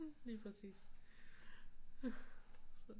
Lige præcis så